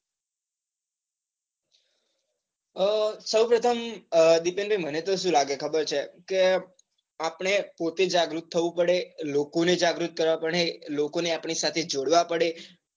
આહ સૌપ્રથમ દિપેનભાઈ મને તો સુ લાગે ખબર છે. આપડે પોતે જાગૃત થાઉં પડે લોકોને જાગૃત કરવા પડે. લોકોને આપણી સાથે જોડવા પડે.